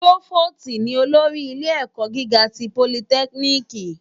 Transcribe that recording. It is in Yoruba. Prófóstì ni ólórì ilé èkò gigá ti pólítèkínìkí